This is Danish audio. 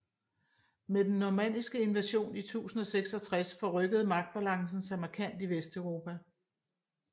Med den normanniske invasion i 1066 forrykkede magtbalancen sig markant i Vesteuropa